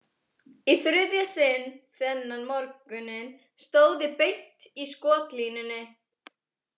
Í þriðja sinn þennan morguninn stóð ég beint í skotlínunni.